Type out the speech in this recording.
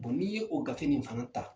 n'i ye o gafe nin fana ta.